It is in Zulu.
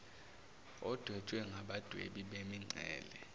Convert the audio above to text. odwetshwe ngabadwebi bemincele